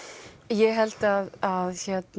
ég held að